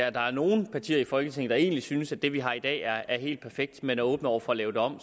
at der er nogen partier i folketinget der egentlig synes at det vi har i dag er er helt perfekt man er åben over for at lave det om